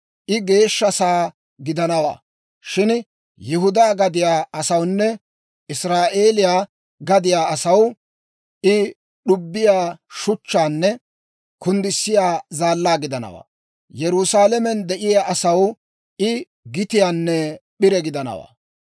I geeshsha sa'aa gidanawaa; shin Yihudaa gadiyaa asawunne Israa'eeliyaa gadiyaa asaw I d'ubbiyaa shuchchaanne kunddissiyaa zaallaa gidanawaa; Yerusaalamen de'iyaa asaw I gitiyaanne p'ire gidanawaa.